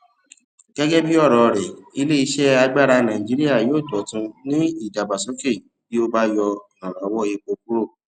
gẹgẹ bí ọrọ rẹ ilé iṣẹ agbára nàìjíría yóò dọtún ní ìdàgbàsókè bí a bá yọ ìrànwọ epo kúrò